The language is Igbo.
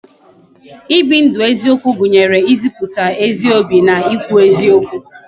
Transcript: I bi ndu eziokwu gụnyere ịzịputa ezi obi na I kwu eziokwu